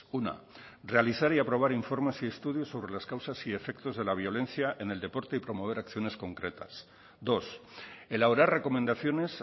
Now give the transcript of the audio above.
una realizar y aprobar informes y estudios sobre las causas y efectos de la violencia en el deporte y promover acciones concretas dos elaborar recomendaciones